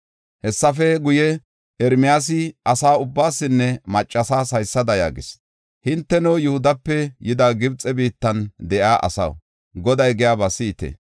Hessafe guye, Ermiyaasi asa ubbaasinne maccasas haysada yaagis; “Hinteno, Yihudape yidi, Gibxe biittan de7iya asaw, Goday giyaba si7ite.